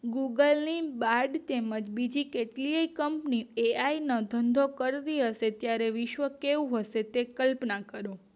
Google ની બાદ તેમજ બીજી કેટલીય કંપની પે આઈ નો ધંધો કરતી હશે ત્યારે વિશ્વ્ કેવું હશે તેની કલ્પના કરો